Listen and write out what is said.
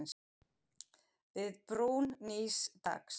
Við brún nýs dags.